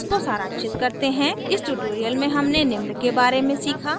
इसको सारांशित करते हैं इस tutorial में हमने निम्न के बारे में सीखा